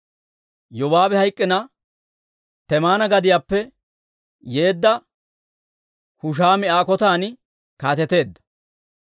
Yobaabi hayk'k'ina, Temaana gadiyaappe yeedda Hushaami Aa kotan kaateteedda.